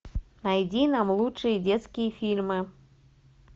найди нам лучшие детские фильмы